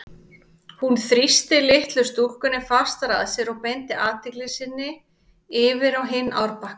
Hún þrýsti litlu stúlkunni fastar að sér og beindi athygli sinni yfir á hinn árbakkann.